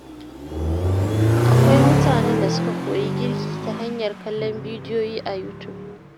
Akwai mutanen da suka koyi girki ta hanyar kallon bidiyoyi a YouTube.